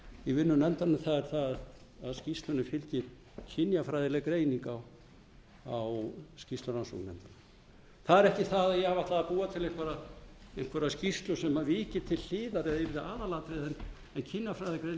í vinnu nefndarinnar það er að skýrslunni fylgir kynjafræðileg greining á skýrslu rannsóknarnefndar það er ekki það að ég ætlaði að búa til einhverja skýrslu sem viki til hliðar eða yrði aðalatriðið